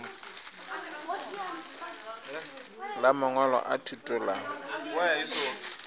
la mangwalo a thuto la